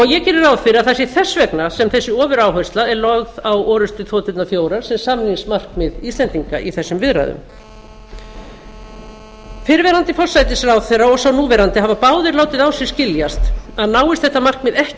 ég geri ráð fyrir að það sé þess vegna sem þessi ofuráhersla er lögð á orrustuþoturnar fjórar sem samningsmarkmið íslendinga í þessum viðræðum fyrrverandi forsætisráðherra og sá núverandi hafa báðir látið á sér skiljast að náist þetta markmið ekki